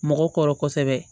Mɔgɔ kɔrɔ kosɛbɛ